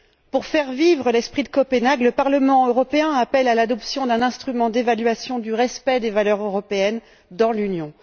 Pour faire vivre l'esprit de Copenhague, le Parlement européen appelle de ses vœux l'adoption d'un instrument d'évaluation du respect des valeurs européennes dans l'Union.